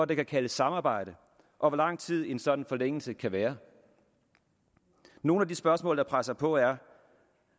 det kan kaldes samarbejde og hvor lang tid sådan en sådan forlængelse kan være nogle af de spørgsmål der presser sig på er